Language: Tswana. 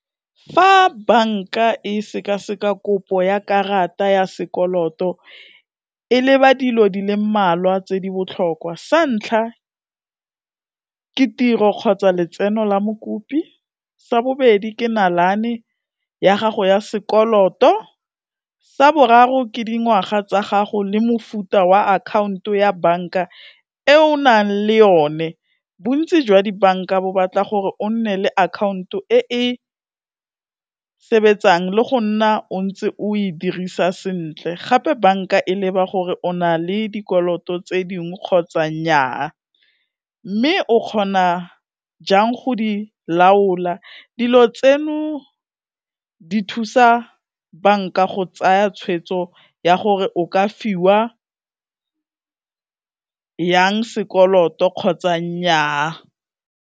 Fa banka e sekaseka kopo ya karata ya sekoloto e leba dilo di le mmalwa tse di botlhokwa, sa ntlha ke tiro kgotsa letseno la mokopi, sa bobedi ke nalane ya gago ya sekoloto, sa boraro ke dingwaga tsa gago le mofuta wa akhaonto ya banka e o nang le yone, bontsi jwa dibanka bo batla gore o nne le akhaonto e e sebetsang le go nna o ntse o e dirisa sentle, gape banka e leba gore o na le dikoloto tse dingwe kgotsa nyaa, mme o kgona jang go di laola. Dilo tseno, di thusa banka go tsaya tshweetso ya gore o ka fiwa yang sekoloto kgotsa nyaa.